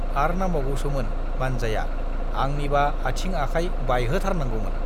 आर नांबावगौसोमोन मान्जाया, आंनिबा आथिं आखाय बायहोथारनांगौमोन।